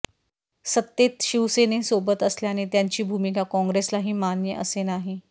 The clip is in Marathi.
सत्तेत शिवसेनेसोबत असल्याने त्यांची भूमिका काँग्रेसलाही मान्य असे नाही